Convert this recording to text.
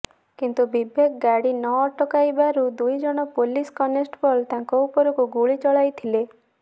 କିନ୍ତୁ ବିବେକ ଗାଡି ନଅଟକାଇବାରୁ ଦୁଇଜଣ ପୋଲିସ କନେଷ୍ଟବଳ ତାଙ୍କ ଉପରକୁ ଗୁଳି ଚଳାଇଥିଲେ